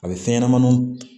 A bɛ fɛn ɲɛnɛmaniw